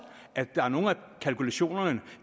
at nogle af kalkulationerne